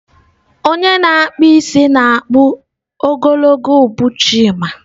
Onye na-akpụ isi na-akpụ isi ogologo ubu Chima.